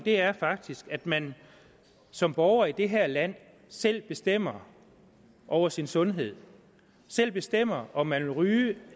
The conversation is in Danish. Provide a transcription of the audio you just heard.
er faktisk at man som borger i det her land selv bestemmer over sin sundhed selv bestemmer om man vil ryge